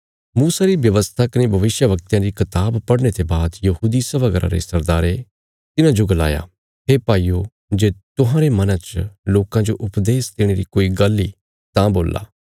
मूसा री व्यवस्था कने भविष्यवक्तयां री कताब पढ़ने ते बाद यहूदी सभा घरा रे सरदारे तिन्हांजो गलाया हे भाईयो जे तुहांरे मना च लोकां जो उपदेश देणे री कोई गल्ल इ तां बोल्ला